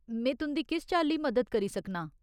में तुं'दी किस चाल्ली मदद करी सकनां?